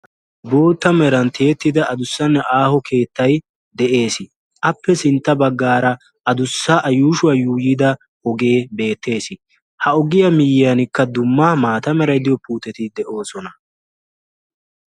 bootta meran tiyettida adussanne aaho keettay de'ees. appe sintta bagaara a yuushshuwa yuuyi uttida ogee beetees. ha ogiyua mataanikka dumma maata meray diyo puutetti de'oosona.